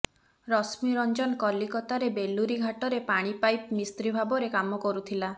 ରଶ୍ମୀରଞ୍ଜନ କଲିକତାର ବେଲୁରୀ ଘାଟରେ ପାଣିପାଇପ୍ ମିସ୍ତ୍ରୀ ଭାବରେ କାମ କରୁଥିଲା